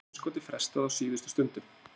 Evrópsku geimskoti frestað á síðustu stundu